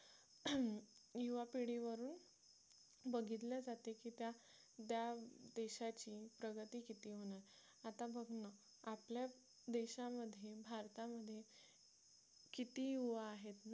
युवा पिढीवरून बघितल्या जाते की त्या देशाची प्रगती किती होणार आता बघ ना आपल्या देशामध्ये भारतामध्ये किती युवा आहेत ना